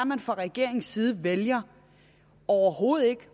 man fra regeringens side vælger overhovedet ikke